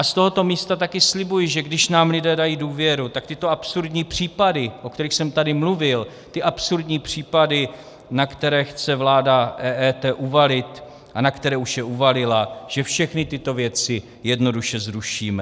A z tohoto místa také slibuji, že když nám lidé dají důvěru, tak tyto absurdní případy, o kterých jsem tady mluvil, ty absurdní případy, na které chce vláda EET uvalit a na které už je uvalila, že všechny tyto věci jednoduše zrušíme.